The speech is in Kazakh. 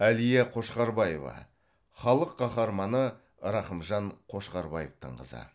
әлия қошқарбаева халық қаһарманы рақымжан қошқарбаевтың қызы